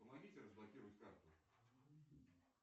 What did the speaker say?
помогите разблокировать карту